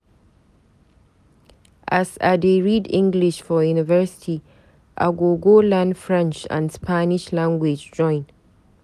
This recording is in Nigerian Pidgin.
As I dey read English for university, I go go learn French and Spanish Language join.